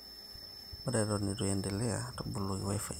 ore eton eitu iendelea ,toboloki wifi ino